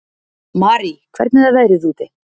Marie, hvernig er veðrið úti?